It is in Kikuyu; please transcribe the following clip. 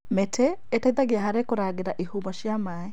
Mĩtĩ ĩteithagia harĩ kũrangĩra ihumo cia maĩ,